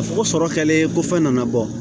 Fɔ ko sɔrɔ kɛlen ko fɛn nana bɔ